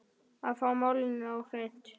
Að fá málin á hreint